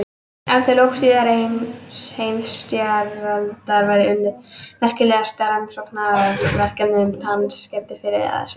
Eftir lok síðari heimsstyrjaldar var unnið eitt merkilegasta rannsóknarverkefni um tannskemmdir fyrr eða síðar.